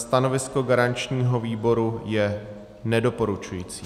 Stanovisko garančního výboru je nedoporučující.